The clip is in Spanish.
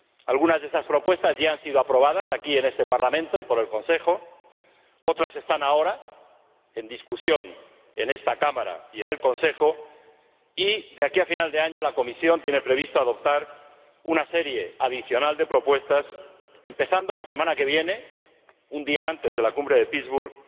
Algunas de esas propuestas ya han sido aprobadas aquí en este Parlamento y por el Consejo, otras están ahora en discusión en esta Cámara y en el Consejo y de aquí a final de año la Comisión tiene previsto adoptar una serie adicional de propuestas, empezando la semana que viene, un día antes de la Cumbre de Pittsburg,